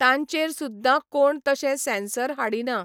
तांचेर सुद्दां कोण तशे सँसर हाडिना.